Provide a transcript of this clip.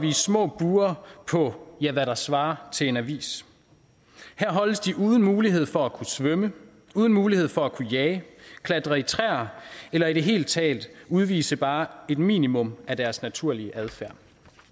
små bure på hvad der svarer til en avis her holdes de uden mulighed for at kunne svømme uden mulighed for at kunne jage klatre i træer eller i det hele taget udvise bare et minimum af deres naturlige adfærd